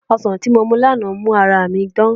Ọsàn tí mo mu lánàá mú ara mi dán